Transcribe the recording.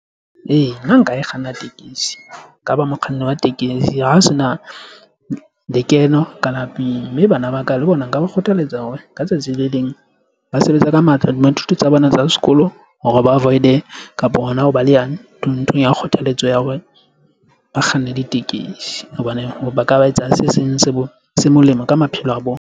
Ee, nna nka e kganna tekesi nka ba mokganni wa tekesi ha ho se na lekeno ka lapeng mme bana ba ka le bona nka ba kgothaletsa hore ka tsatsi le leng ba sebetse ka matla ho dithuto tsa bona tsa sekolo hore ba avoid-e kapa hona ho ba le ya ntho ya kgothaletso ya hore ba kganne ditekesi hobane ba ka ba etsa se seng se se molemo ka maphelo a bona.